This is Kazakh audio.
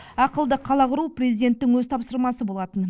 ақылды қала құру президенттің өз тапсырмасы болатын